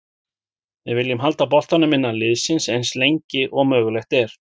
Við viljum halda boltanum innan liðsins eins lengi og mögulegt er.